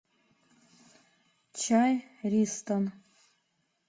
чай ристон